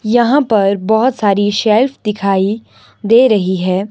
यहां पर बहोत सारी शेल्फ दिखाई दे रही है।